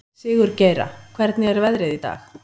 Sigurgeira, hvernig er veðrið í dag?